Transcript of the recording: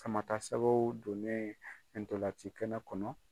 Sama ta sɛgɛw donnen ntolan ci kɛnɛ kɔnɔ